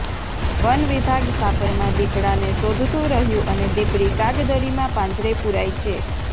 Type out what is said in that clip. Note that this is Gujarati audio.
વન વિભાગ સાપરમાં દીપડાને શોધતું રહ્યું અને દીપડી કાગદડીમાં પાંજરે પૂરાઇ છે